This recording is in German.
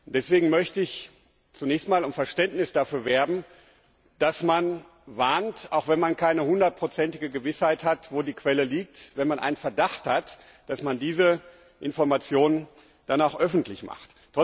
Deswegen möchte ich zunächst einmal um Verständnis dafür werben, dass man warnt, auch wenn man keine hundertprozentige Gewissheit hat, wo die Quelle liegt, und nur einen Verdacht hat, dass man diese Informationen dann auch öffentlich macht.